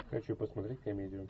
хочу посмотреть комедию